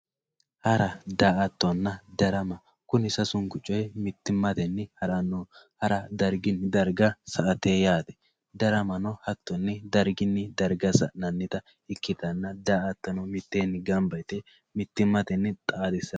Hara, Daa'attonna, darama, kuni sasunku coyi mitteenni haranno, hara darigini dariga sa'atte yaatte, daramanno hatto darigini dariga sa'nanitta ikkitanna daa'attono mitteenni gamba yite mitimatenni xaadissano